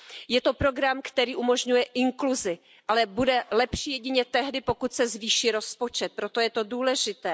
Je to program, který umožňuje inkluzi, ale bude lepší jedině tehdy, pokud se zvýší rozpočet, proto je to důležité.